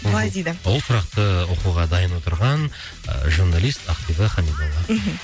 былай дейді ол сұрақты оқуға дайын отырған ы журналист ақбибі хамидолла мхм